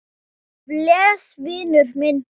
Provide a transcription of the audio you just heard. Bless, vinur minn, bless.